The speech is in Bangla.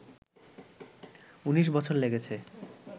১৯ বছর লেগেছে